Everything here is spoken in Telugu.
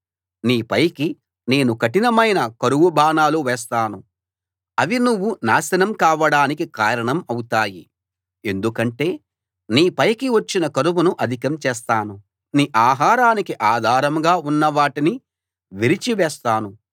నీ పైకి నేను కఠినమైన కరువు బాణాలు వేస్తాను అవి నువ్వు నాశనం కావడానికి కారణం అవుతాయి ఎందుకంటే నీ పైకి వచ్చిన కరువును అధికం చేస్తాను నీ ఆహారానికి ఆధారంగా ఉన్న వాటిని విరిచి వేస్తాను